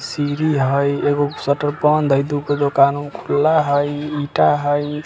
सीरी हई एगो शटर बंद हई दुगो दुकान खुला हई ईटा हई।